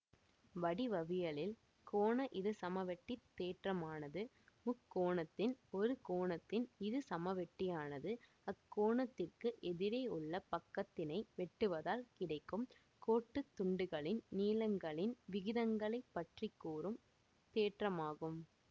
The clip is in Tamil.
வடிவவியலில் கோண இருசமவெட்டித் தேற்றமானது முக்கோணத்தின் ஒரு கோணத்தின் இரு சமவெட்டியானது அக்கோணத்திற்கு எதிரேயுள்ள பக்கத்தினை வெட்டுவதால் கிடைக்கும் கோட்டுத் துண்டுகளின் நீளங்களின் விகிதங்களைப்பற்றிக் கூறும் தேற்றமாகும்